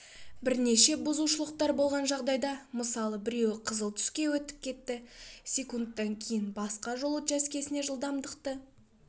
бірнеше бұзушылықтар болған жағдайда мысалы біреу қызыл түске өтіп кетті секундтан кейін басқа жол учаскесінде жылдамдықты